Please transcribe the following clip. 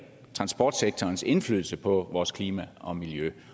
transportsektorens indflydelse på vores klima og miljø